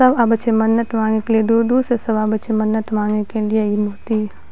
सब आवे छै मन्नत मांगे के लिए दूर-दूर से सब आवे छै मन्नत मांगे के लिए इ मूर्ति --